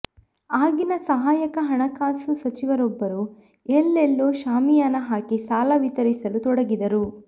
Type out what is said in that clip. ಆಗಿನ ಸಹಾಯಕ ಹಣಕಾಸು ಸಚಿವರೊಬ್ಬರು ಎಲ್ಲೆಲ್ಲೂ ಶಾಮಿಯಾನ ಹಾಕಿ ಸಾಲ ವಿತರಿಸಲು ತೊಡಗಿದರು